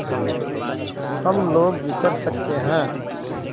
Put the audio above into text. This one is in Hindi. हम लोग विचर सकते हैं